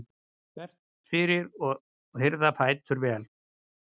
þvert fyrir og hirða fætur vel.